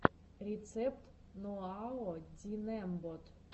рецепт ноаодинэмбот